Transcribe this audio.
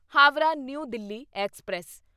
Howrah new Delhi express